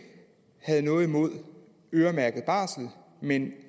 har noget imod øremærket barsel men